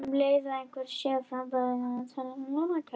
Um leið og einhver frambjóðandi nær þessari tölu þá telst hann kjörinn.